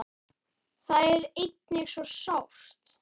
Það er einnig svo sárt.